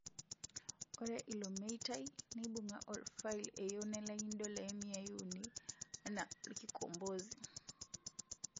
Ore ilo meitai neibunga orfail eyeu nelaki ndolai miyai uni (300) ana orkikombozi